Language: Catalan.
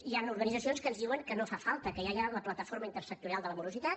hi han organitzacions que ens diuen que no fa falta que ja hi ha la plataforma multisectorial contra la morositat